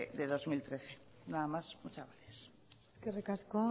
de dos mil trece nada más muchas gracias eskerrik asko